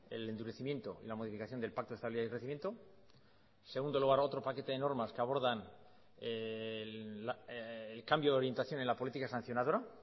el endurecimiento y la modificación del pacto de estabilidad de crecimiento en segundo lugar otro paquete de normas que abordan el cambio de orientación en la política sancionadora